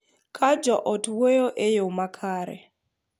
Ka jo ot wuoyo e yo makare,